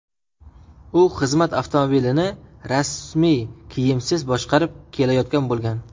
U xizmat avtomobilini rasmiy kiyimsiz boshqarib kelayotgan bo‘lgan.